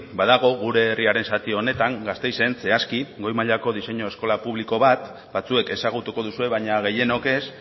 badago gure herriaren zati honetan gasteizen zehazki goi mailako diseinu eskola publiko bat batzuek ezagutuko duzue baina gehienok ez